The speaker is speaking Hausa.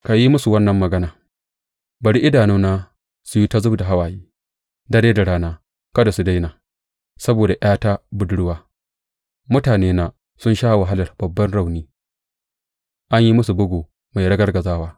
Ka yi musu wannan magana, Bari idanuna su yi ta zub da hawaye dare da rana kada su daina; saboda ’yata budurwa, mutanena, sun sha wahalar babban rauni, an yi musu bugu mai ragargazawa.